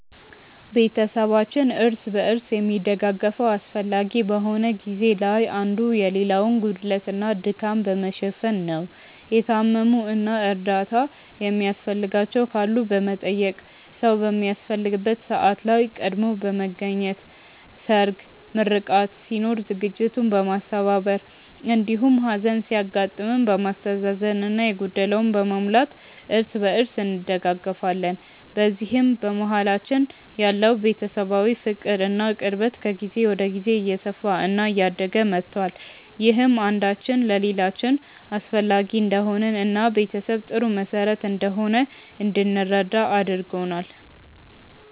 ቤተሰባችን እርስ በርስ የሚደጋገፈው አስፈላጊ በሆነ ጊዜ ላይ አንዱ የሌላውን ጉድለት እና ድካም በመሸፈን ነው። የታመሙ እና እርዳታ የሚያስፈልጋቸው ካሉ በመጠየቅ፣ ሰዉ በሚያስፈልግበት ሰዓት ላይ ቀድሞ በመገኘት ሰርግ፣ ምርቃት ሲኖር ዝግጅቱን በማስተባበር እንዲሁም ሀዘን ሲያጋጥም በማስተዛዘን እና የጎደለውን በመሙላት እርስ በእርስ እንደጋገፋለን። በዚህም በመሀላችን ያለው ቤተሰባዊ ፍቅር እና ቅርበት ከጊዜ ወደ ጊዜ እየሰፋ እና እያደገ መቷል። ይህም አንዳችን ለሌላችን አስፈላጊ እንደሆንን እና ቤተሰብ ጥሩ መሰረት እንደሆነ እንድንረዳ አድርጎናል።